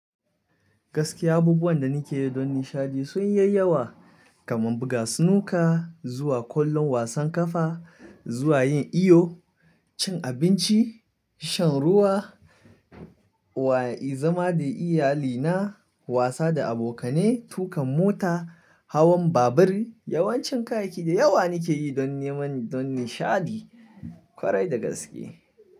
Gaskiya abubuwan da ni ke yi don nishaɗi sun yi yayawa kamar buga snuka zuwa kallon wasan ƙafa, zuwa yin iyo, cin abinci, shan ruwa wa'i zama da iyalina, wasa da abokane, tuƙa mota, hawan babur. Yawancin kayayyaki da yawa ni ke yi don neman don nishaɗi kwarai da gaske.